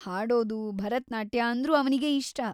ಹಾಡೋದು, ಭರತನಾಟ್ಯ ಅಂದ್ರೂ ಅವ್ನಿಗೆ ಇಷ್ಟ.